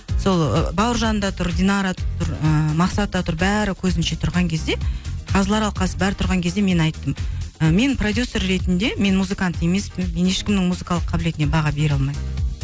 сол ы бауыржан да тұр динара да тұр ыыы мақсат та тұр бәрі көзінше тұрған кезде қазылар алқасы бәрі тұрған кезде мен айттым ы мен продюссер ретінде мен музыкант емеспін мен ешкімнің музыкалық кабілетіне баға бере алмаймын